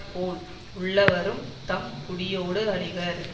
போல் உள்ளவரும் தம் குடியோடு அழிவர்